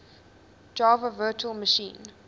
java virtual machine